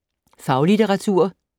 Faglitteratur